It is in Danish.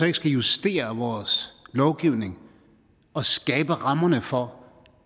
ikke skal justere vores lovgivning og skabe rammerne for